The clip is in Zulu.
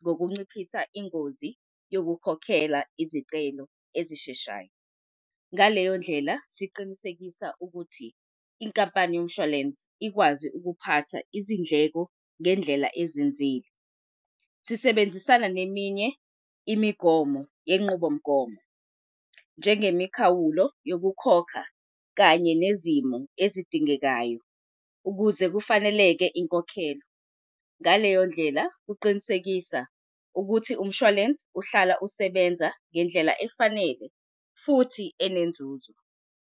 ngokunciphisa ingozi yokukhokhela izicelo ezisheshayo. Ngaleyo ndlela, siqinisekisa ukuthi inkampani yomshwalense ikwazi ukuphatha izindleko ngendlela ezinzile. Sisebenzisana neminye imigomo yenqubomgomo njengemikhawulo yokukhokha kanye nezimo ezidingekayo ukuze kufaneleke inkokhelo. Ngaleyo ndlela uqinisekisa ukuthi umshwalense uhlala usebenza ngendlela efanele futhi enenzuzo.